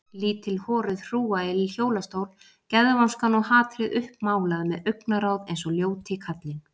Lítil horuð hrúga í hjólastól, geðvonskan og hatrið uppmálað með augnaráð eins og ljóti kallinn.